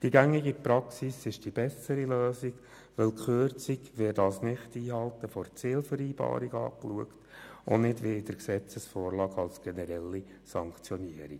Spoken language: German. Die gängige Praxis bietet die bessere Lösung, denn die Kürzung wird als Nichteinhalten einer Zielvereinbarung betrachtet und nicht als generelle Sanktionierung, wie in der jetzigen Gesetzesvorlage.